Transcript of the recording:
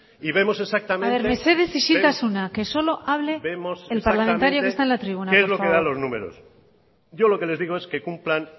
mesedez isiltasuna que solo hable el parlamentario que está en la tribuna por favor y vemos exactamente qué es lo que dan los números yo lo que les digo es que